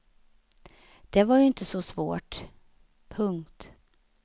Det var ju inte så svårt. punkt